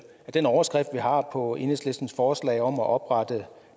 den overskrift vi har på enhedslistens forslag om at oprette